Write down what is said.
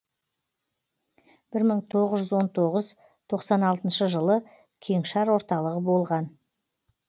бір мың тоғыз жүз он тоғыз тоқсан алтыншы жылы кеңшар орталығы болған